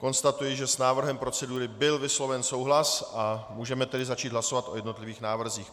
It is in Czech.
Konstatuji, že s návrhem procedury byl vysloven souhlas a můžeme tedy začít hlasovat o jednotlivých návrzích.